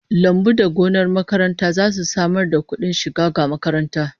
Lambu da gonar makaranta zasu samar da kudin shiga ga makaranta